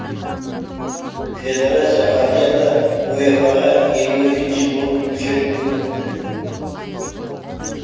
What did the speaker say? федерация азиядан уефа ға елу екінші болып мүшелікке өтті